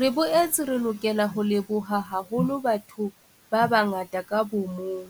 Re boetse re lokela ho leboha haholo batho ba bangata ka bo mong,